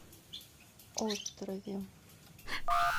острове